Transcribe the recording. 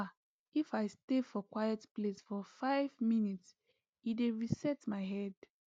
ah if i stay for quiet place for five minute e dey reset my head